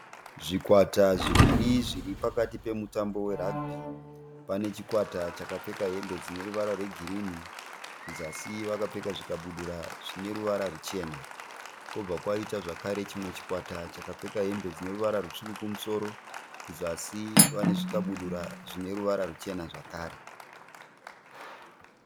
Zvikwata zviviri zviri pakati pemutambo weragibhi. Pane chikwata chapfeka hembe dzine ruvara rwegirinhi. Kuzasi vakapfeka zvikabudura zvine ruvara ruchena. Kwobva kwaita zvekare chimwe chikwata chakapfeka hembe dzine ruvara rutsvuku kumusoro. Kuzasi vane zvikabudura zvine ruvara ruchena zvekare.